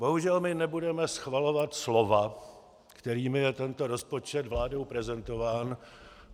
Bohužel my nebudeme schvalovat slova, kterými je tento rozpočet vládou prezentován.